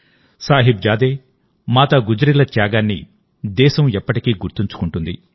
సాహిబ్ జాదే మాతా గుజ్రీల త్యాగాన్ని దేశం ఎప్పటికీ గుర్తుంచుకుంటుంది